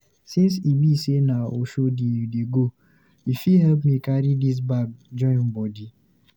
Since e be sey na Oshodi you dey go, you fit help me carry dis bag join body?